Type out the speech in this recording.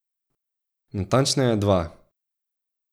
Natančneje, dva.